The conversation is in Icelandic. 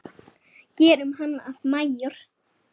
Gerum hann að majór.